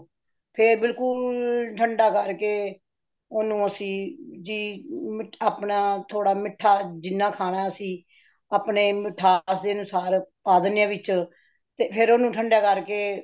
ਫੇਰ ਬਿਲਕੁਲ ਠੰਡਾ ਕਰ ਕੇ , ਓਨੁ ਅਸੀ ਜੀ ਮਿੱਠਾ ਅਪਣਾ ਥੋੜਾ ਮਿੱਠਾ ਜਿਨ੍ਹਾਂ ਖਾਣਾ ਅਸੀਂ , ਅਪਣਾ ਮਿੱਠਾ ਸਵਾਦ ਅਨੁਸਾਰ ਪਾ ਦੇਂਦੇ ਹਾ ਵਿੱਚ ਫੇਰ ਠੰਡਾ ਕਰ ਕੇ